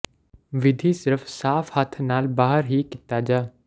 ਵਿਧੀ ਸਿਰਫ ਸਾਫ਼ ਹੱਥ ਨਾਲ ਬਾਹਰ ਹੀ ਕੀਤਾ ਜਾ